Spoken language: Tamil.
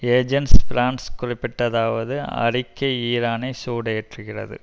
ஏஜென்ஸ் பிரான்ஸ் குறிப்பிட்டதாவது அறிக்கை ஈரானை சூடேற்றுகிறது